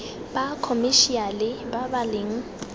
ba khomešiale ba ba leng